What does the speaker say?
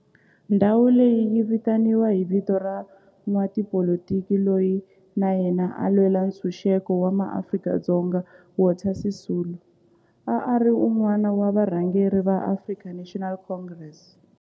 Ndhawo leyi yi vitaniwa hi vito ra n'watipolitiki loyi na yena a lwela ntshuxeko wa maAfrika-Dzonga Walter Sisulu, a ri wun'wana wa varhangeri va African National Congress, ANC.